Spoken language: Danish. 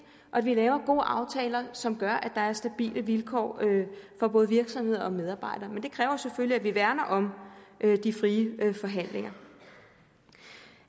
og at vi laver gode aftaler som gør at der er stabile vilkår for både virksomheder og medarbejdere men det kræver selvfølgelig at vi værner om de frie forhandlinger